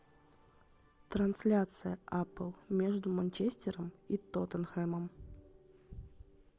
трансляция апл между манчестером и тоттенхэмом